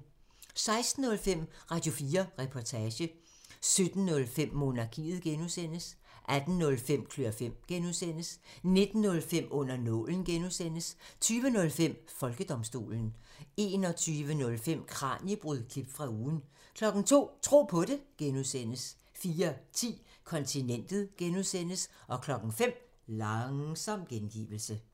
16:05: Radio4 Reportage 17:05: Monarkiet (G) 18:05: Klør fem (G) 19:05: Under nålen (G) 20:05: Folkedomstolen 21:05: Kraniebrud – klip fra ugen 02:00: Tro på det (G) 04:10: Kontinentet (G) 05:00: Langsom gengivelse